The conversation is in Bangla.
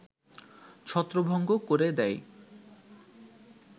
ছত্রভঙ্গ করে দেয়